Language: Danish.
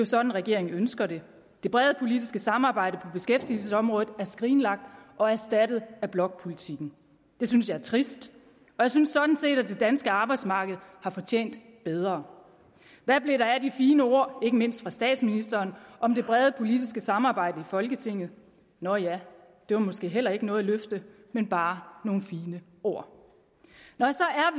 sådan regeringen ønsker det det brede politiske samarbejde på beskæftigelsesområdet er skrinlagt og erstattet af blokpolitikken det synes jeg er trist og jeg synes sådan set det danske arbejdsmarked har fortjent bedre hvad blev der af de fine ord ikke mindst fra statsministeren om det brede politiske samarbejde i folketinget nå ja det var måske heller ikke noget løfte men bare nogle fine ord når